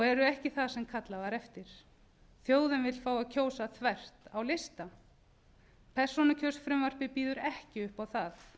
eru ekki það kallað var eftir þjóðin vill fá að kjósa þvert á lista persónukjörsfrumvarpið býður ekki upp á það